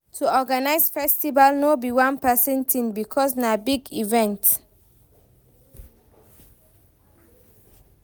To organize festival no be one persin thing because na big event